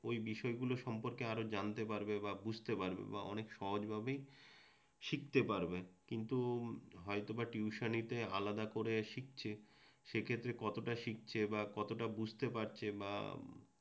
ঐ বিষয়গুলো সম্পর্কে আরও জানতে পারবে বা বুঝতে পারবে বা অনেক সহজভাবে শিখতে পারবে কিন্তু হয়তোবা টিউশনিতে আলাদা করে শিখছে সেক্ষেত্রে কতটা শিখছে বা কতটা বুঝতে পারছে বা